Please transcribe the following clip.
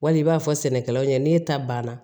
Wali i b'a fɔ sɛnɛkɛlaw ɲɛna n'e ta banna